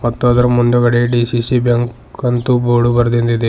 ಮತ್ತು ಅದರ ಮುಂದುಗಡೆ ಡಿ_ಸಿ_ಸಿ ಬ್ಯಾಂಕ್ ಅಂತು ಬೋರ್ಡ್ ಬರ್ದಿಂದ್ ಇದೆ.